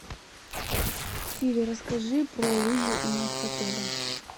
сири расскажи про лыжи у нас в отеле